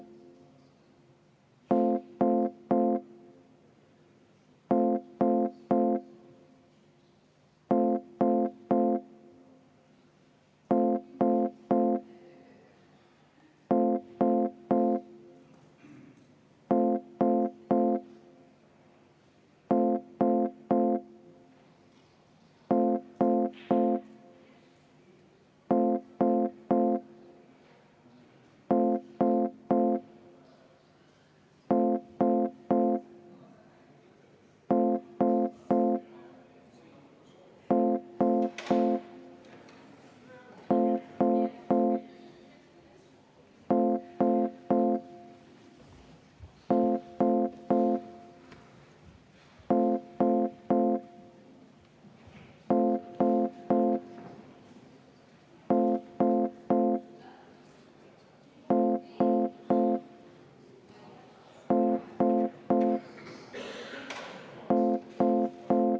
V a h e a e g